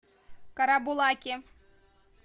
карабулаке